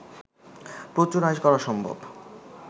প্রচুর আয় করা সম্ভব